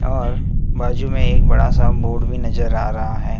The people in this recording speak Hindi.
और बाजू में एक बड़ा सा बोर्ड भी नजर आ रहा है।